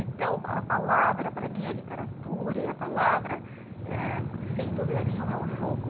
Então, a palavra, para mim, a literatura e a palavra eh, sem dúvida nenhuma, é um jogo.